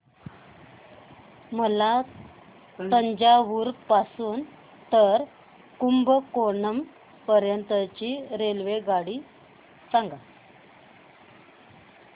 मला तंजावुर पासून तर कुंभकोणम पर्यंत ची रेल्वेगाडी सांगा